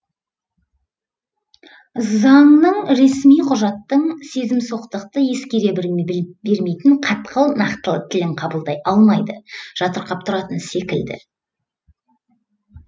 заңның ресми құжаттың сезімсоқтықты ескере бермейтін қатқыл нақтылы тілін қабылдай алмайды жатырқап тұратын секілді